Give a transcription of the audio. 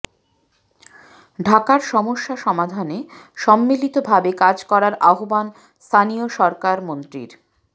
ঢাকার সমস্যা সমাধানে সম্মিলিতভাবে কাজ করার আহবান স্থানীয় সরকার মন্ত্রীর